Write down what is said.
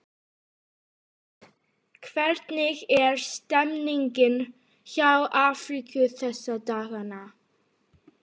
Hvernig er stemningin hjá Afríku þessa dagana?